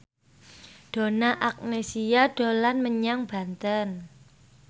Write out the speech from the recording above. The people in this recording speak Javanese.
Donna Agnesia dolan menyang Banten